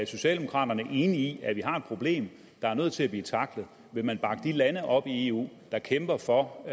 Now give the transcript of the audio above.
socialdemokraterne enige i at vi har et problem der er nødt til at blive tacklet vil man bakke de lande op i eu der kæmper for